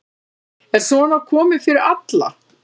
En svona kom fyrir alla.